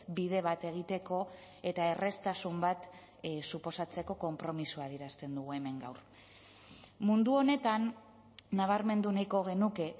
bide bat egiteko eta erraztasun bat suposatzeko konpromisoa adierazten dugu hemen gaur mundu honetan nabarmendu nahiko genuke